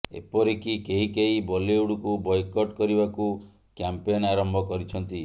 ଏପରିକି କେହିକେହି ବଲିଉଡକୁ ବୟକଟ୍ କରିବାକୁ କ୍ୟାମ୍ପେନ୍ ଆରମ୍ଭ କରିଛନ୍ତି